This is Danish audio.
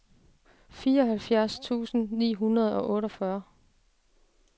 fireoghalvfjerds tusind ni hundrede og otteogfyrre